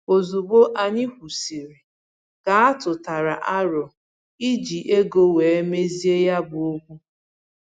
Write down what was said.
Ozugbo anyị kwụsịrị, ka atụtara aro iji ego wee mezie ya bụ okwu